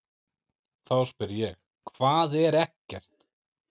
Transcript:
Þá spyr ég: HVAÐ ER EKKERT?